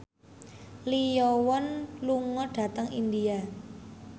Lee Yo Won lunga dhateng India